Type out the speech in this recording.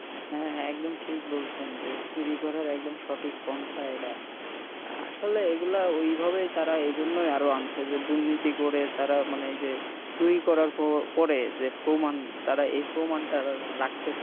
হ্যাঁ হ্যাঁ একদম ঠিক বলছেন এই চুরি করার একদম সঠিক প্রন্থা এডা আসলে এরা এই গুলা এই জন্য তারা আরো আনছে যে দুর্নীতি করে তারা মানে চুরি করার পরে যে প্রমান এ প্রমান টা রাখতে চায় না